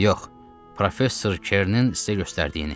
Yox, professor Kerinin sizə göstərdiyini.